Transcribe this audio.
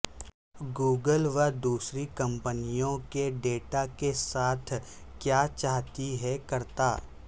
Google وہ دوسری کمپنیوں کے ڈیٹا کے ساتھ کیا چاہتی ہے کرتا